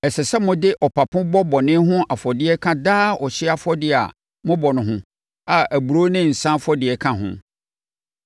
Ɛsɛ sɛ mode ɔpapo bɔ bɔne ho afɔdeɛ ka daa ɔhyeɛ afɔdeɛ a mobɔ no ho a aburoo ne nsã afɔdeɛ ka ho.